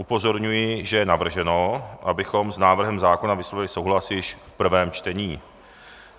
Upozorňuji, že je navrženo, abychom s návrhem zákona vyslovili souhlas již v prvém čtení.